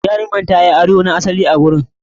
Jarumar ta yi ado na asali a wurin.